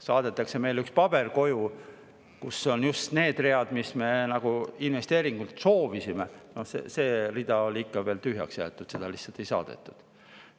Saadetakse meile koju üks paber, kus just need read, mida me investeeringute kohta soovisime, olid ikka veel tühjaks jäetud, neid lihtsalt ei saadetud.